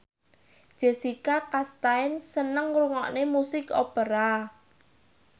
Jessica Chastain seneng ngrungokne musik opera